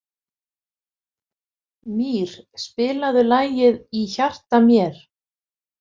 Mír, spilaðu lagið „Í hjarta mér“.